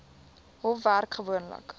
hof werk gewoonlik